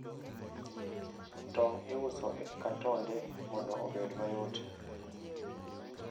Tong' iuso e katonde mondo obed mayot.